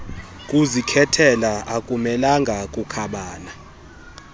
kuzikhethela akumelanga kukhabana